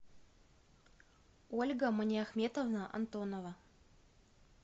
ольга маниахметовна антонова